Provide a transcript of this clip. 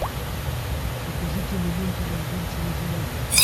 покажи киноленту разборчивый жених